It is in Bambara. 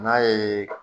N'a ye